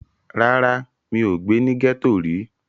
Rárá, mi ò gbé ní gẹ́ẹ́tò rí